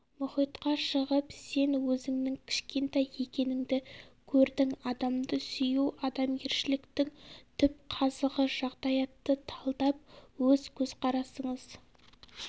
мұхитқа шығып сен өзіңнің кішкентай екеніңді көрдің адамды сүю адамгершіліктің түп қазығы жағдаятты талдап өз көзқарасыңыз